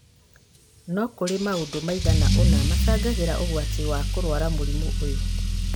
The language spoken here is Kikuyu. no kũrĩ maundũ maigana ũna macangagĩra ũgwati wa kũrwara mũrimũ ũyũ